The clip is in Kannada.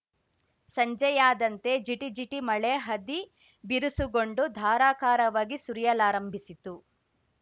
ಸಂಜೆಯಾದಂತೆ ಜಿಟಿ ಜಿಟಿ ಮಳೆ ಹದಿ ಬಿರುಸುಗೊಂಡು ಧಾರಾಕಾರವಾಗಿ ಸುರಿಯಲಾರಂಭಿಸಿತು